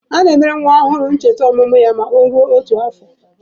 A na-emere nwa ọhụrụ ncheta ọmụmụ ya ma ọ mee otu afọ.